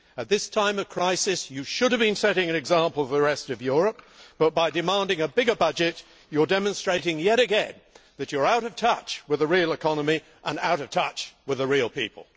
At this time of crisis you should have been setting an example for the rest of Europe, but by demanding a bigger budget you are demonstrating yet again that you are out of touch with the real economy, and out of touch with the real people.